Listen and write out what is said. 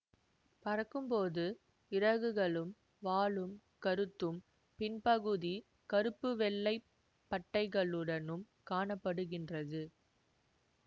பறக்கும்போது இறகுகளும் வாலும் கருத்தும் பின்பகுதி கருப்பு வெள்ளை பட்டைகளுடனும் காண படுகின்றது